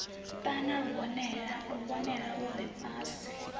ṱana luvhonela lu re fhasi